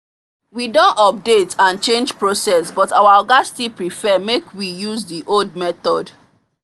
we don update and change process but our oga still prefer make we use the old method